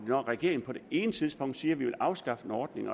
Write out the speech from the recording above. når regeringen på det ene tidspunkt siger at man vil afskaffe en ordning